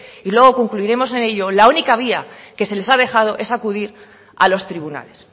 y luego concluiremos en ello la única vía que se les ha dejado es acudir a los tribunales